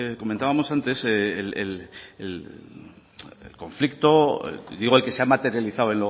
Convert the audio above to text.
comentábamos antes el conflicto digo el que se ha materializado